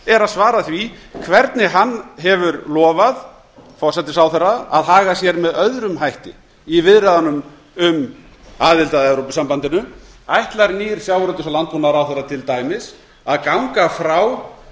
er að svara því hvernig hann hefur lofað forsætisráðherra að haga sér með öðrum hætti í viðræðunum um aðild að evrópusambandinu ætlar nýr sjávarútvegs og landbúnaðarráðherra til dæmis að ganga frá